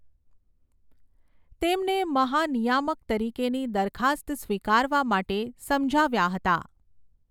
તેમને મહાનિયામક તરીકેની દરખાસ્ત સ્વીકારવા માટે સમજાવ્યા હતા.